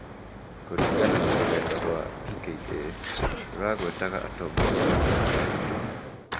kũringana na rũrenda rwa PKA , rũragwetaga atongoria matarĩ marĩĩtwa.